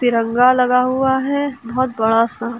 तिरंगा लगा हुआ है बहुत बड़ा सा।